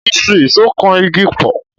Mo fi ìṣó kan igi pọ̀.